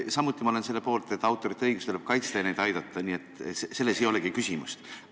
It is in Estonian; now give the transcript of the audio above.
Samuti ma olen selle poolt, et autorite õigusi tuleb kaitsta ja neid aidata, nii et selles ei olegi küsimust.